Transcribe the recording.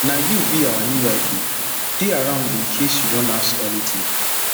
na you be our new wifei dey around in case you wan ask anything